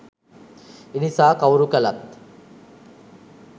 එනිසා කවුරු කලත්